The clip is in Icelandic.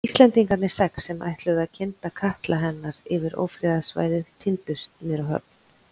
Íslendingarnir sex, sem ætluðu að kynda katla hennar yfir ófriðarsvæðið tíndust niður á höfn.